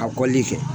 A kɔlili kɛ